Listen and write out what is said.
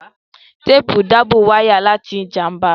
Téèpù ń dábò wáyà láti ìjàmbá